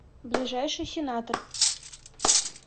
ближайший сенатор